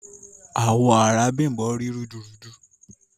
Awọ̀ arà Bímbọ̀ rí rúdùrúdú.